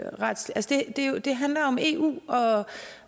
retsligt det handler om eu